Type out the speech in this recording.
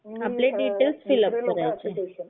म्हणजे आपले details fill up करायचे.